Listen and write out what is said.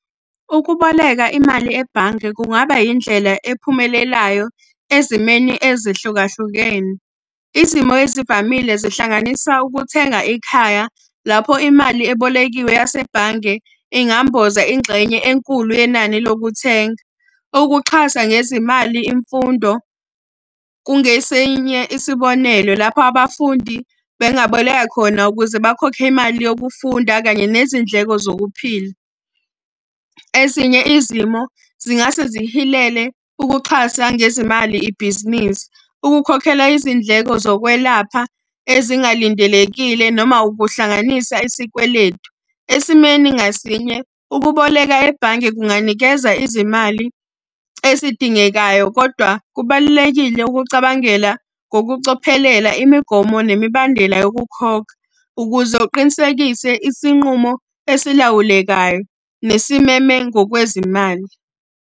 Ukuboleka imali ebhange kungaba indlela ephumelelayo ezimeni ezehlukahlukene. Izimo ezivamile zihlanganisa ukuthenga ikhaya lapho imali ebolekiwe yasebhange ingamboza ingxenye enkulu yenani lokuthenga. Ukuxhasa ngezimali imfundo, kungesinye isibonelo lapho abafundi bengaboleka khona ukuze bakhokhe imali yokufunda kanye nezindleko zokuphila. Ezinye izimo zingase zihilele ukuxhasa ngezimali ibhizinisi. Ukukhokhela izindleko zokwelapha ezingalindelekile noma ukuhlanganisa isikweletu. Esimeni ngasinye ukuboleka ebhange kunganikeza izimali ezidingekayo. Kodwa kubalulekile ukucabangela ngokucophelela imigomo nemibandela yokukhokha ukuze uqinisekise isinqumo esilawulekayo nesimeme ngokwezimali.